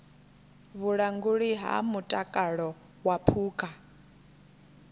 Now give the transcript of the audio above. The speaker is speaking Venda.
vhulanguli ha mutakalo wa phukha